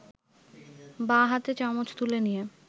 বাঁ হাতে চামচ তুলে নিয়ে